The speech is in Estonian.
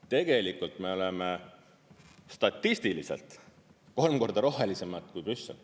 Tegelikult me oleme statistiliselt kolm korda rohelisemaid kui Brüssel.